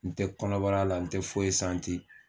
N tɛ kɔnɔbara la n tɛ foyi